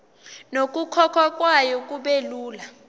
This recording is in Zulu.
nokukhokhwa kwayo kubelula